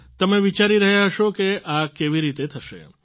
તમે વિચારી રહ્યા હશો કે આ કેવી રીતે થશે